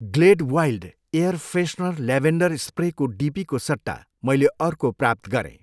Glade wild air freshener lavender स्प्रेको डिपीको सट्टा मैले अर्को प्राप्त गरेँ।